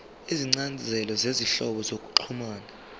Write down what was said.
izincazelo zezinhlobo zokuxhumana